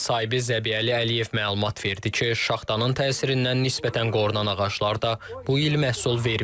Bağ sahibi Zəbiyəli Əliyev məlumat verdi ki, şaxtanın təsirindən nisbətən qorunan ağaclar da bu il məhsul verməyib.